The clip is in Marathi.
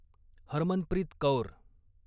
हरमनप्रीत कौर